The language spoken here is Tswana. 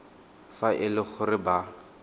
fa e le gore ba